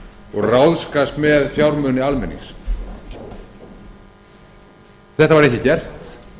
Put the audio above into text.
og ráðskast með fjármuni almennings þetta var ekki gert